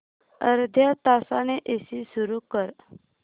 अर्ध्या तासाने एसी सुरू कर